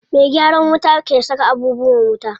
Me gyaran wuta ke saka abubuwan wuta.